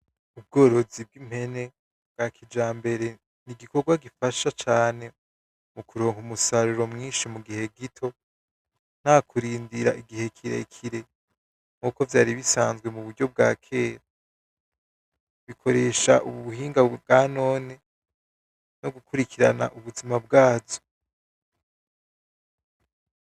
Ukurima kw'umwete akaba ari yo inkingi ya mbere y'iterambere ry'umuryango mu kurwanya inzara ico gikorwa kikaba gifise akamaro gakomeye, kuko ariho hagandurwa umwimbu uzofasha urugo kuronka icura n'ico ugurisha kugira ngo yinjize amahera.